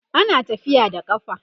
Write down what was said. ana tafiya da ƙafa